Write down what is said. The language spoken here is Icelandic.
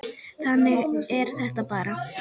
Þannig er þetta bara.